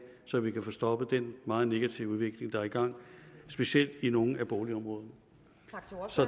så vi kan få stoppet den meget negative udvikling der er i gang specielt i nogle boligområder